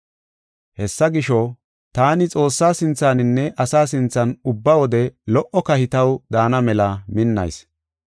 Hessa gisho, taani Xoossaa sinthaninne asaa sinthan ubba wode lo77o kahi taw daana mela minnayis.